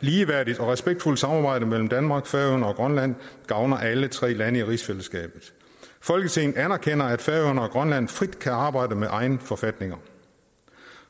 ligeværdigt og respektfuldt samarbejde mellem danmark færøerne og grønland gavner alle tre lande i rigsfællesskabet folketinget anerkender at færøerne og grønland frit kan arbejde med egne forfatninger